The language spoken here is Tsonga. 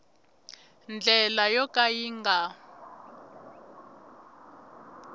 ndlela yo ka yi nga